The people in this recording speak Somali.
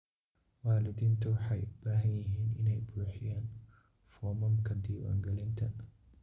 Waalidiintu waxay u baahan yihiin inay buuxiyaan foomamka diiwaangelinta.